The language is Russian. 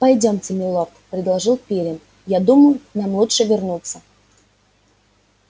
пойдёмте милорд предложил пиренн я думаю нам лучше вернуться